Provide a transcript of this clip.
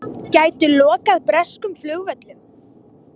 Gætu lokað breskum flugvöllum